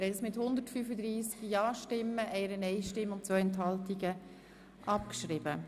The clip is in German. Der Grosse Rat hat die Abschreibung von Ziffer 1 beschlossen.